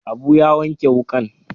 Abu ya wanke wukan.